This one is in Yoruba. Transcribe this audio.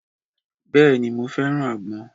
Bèéní, mó fẹ́ràn àgbọn.